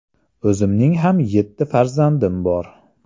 O‘zimning ham yetti farzandim bor.